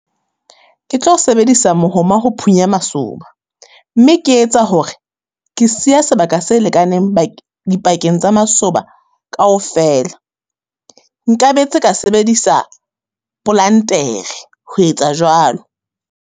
Ke tlo sebedisa mohoma ho phunya masoba, mme ke etsa hore ke siya sebaka se lekaneng , dipakeng tsa masoba kaofela. Nkabetse ka sebedisa polantere ho etsa jwalo.